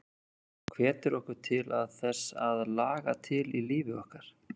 Hún hvetur okkur til að þess að laga til í lífi okkar.